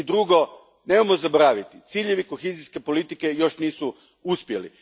I drugo, nemojmo zaboraviti, ciljevi kohezijske politike još nisu uspjeli.